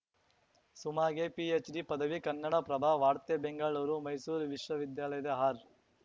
ಸುಮಾಗೆ PhD ಪದವಿ ಕನ್ನಡಪ್ರಭ ವಾರ್ತೆ ಬೆಂಗಳೂರು ಮೈಸೂರು ವಿಶ್ವವಿದ್ಯಾಲಯದ ಆರ್‌